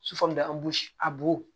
Sufɛ de an bosi a bo